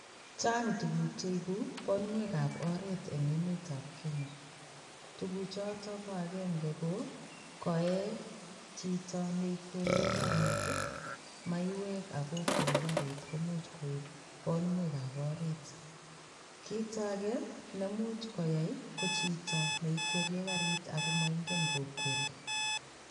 Chang tuguk cheibu bonwekab oret eng emetab Kenya. Tuguchoto ko agenge ko koe chito ne ikwerie karit ii maiywek ak kokweri karit komuch koip bonwekab oret. Kit age ne much koyai ko chito ne ikwerie karit ago moingen kokweri.